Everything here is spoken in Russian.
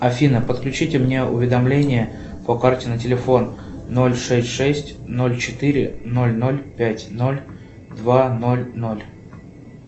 афина подключите мне уведомления по карте на телефон ноль шесть шесть ноль четыре ноль ноль пять ноль два ноль ноль